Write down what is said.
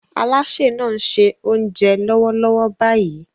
Alásè náà ń ṣe oúnjẹ lọ́wọ́lọ́wọ́ báyìí